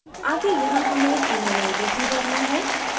आगे यहाँ हमें ईमेलआई डी भरना है